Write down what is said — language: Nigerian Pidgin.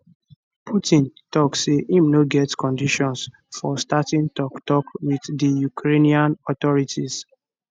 putin tok say im no get conditions for starting toktok wit di ukrainian authorities